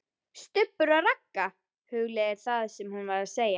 STUBBUR OG RAGGA, hugleiðir það sem hún var að segja.